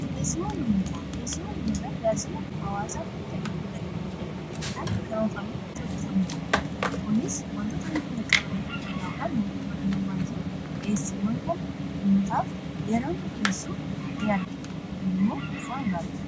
dhiyeesiiwwan ummataa talaajila hawaasaa hundaa gidduu galeeffate kan karoorfaametti hojjetamuudha kuniis wantoota hanqinna qaban irratti hundhaa'uudhaan mootumman baayyee dhiyeessiiwwan kana ummataaf yera inni dhiyeessuu ni argina kun immoo waan gaariidha